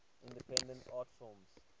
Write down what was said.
independent art films